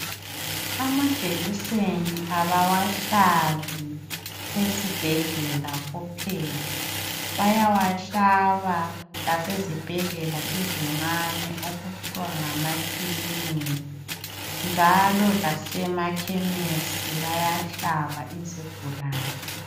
Amajekiseni abawahlabi esibhedlela kuphela, bayawahlaba lasezibhedlela ezincane okuthiwa ngamakilinika, njalo lasemakhemesi bayahlaba izigulane.